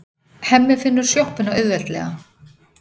Hemmi finnur sjoppuna auðveldlega.